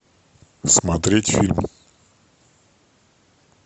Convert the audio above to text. смотреть фильм